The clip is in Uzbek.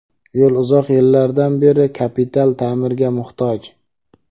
Yo‘l uzoq yillardan beri kapital ta’mirga muhtoj.